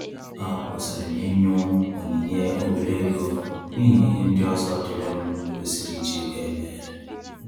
A kwusiri m inyu onyinye obere oge n'ihi ihe ndị ọzọ diri m kwesịrị iji ego eme